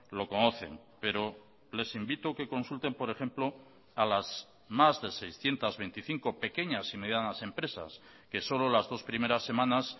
lo conocen pero les invito que consulten por ejemplo a las más de seiscientos veinticinco pequeñas y medianas empresas que solo las dos primeras semanas